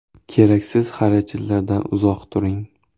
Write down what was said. Keraksiz xarajatlardan uzoq turing.